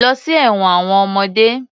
Lọ sí ẹ̀wọn àwọn ọmọdé.